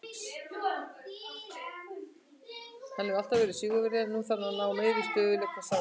Hann hefur alltaf verið sigurvegari en nú þarf hann að ná meiri stöðugleika, sagði Giggs.